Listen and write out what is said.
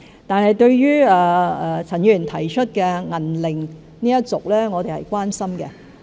對於陳議員提出的"銀齡一族"，我們是關心的。